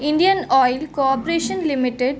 Indian Oil Corporation Limited ---